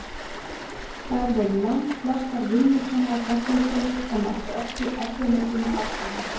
Þær voru langflestar vinnusamar reglukonur, en áttu oft í erfiðleikum með afkvæmin.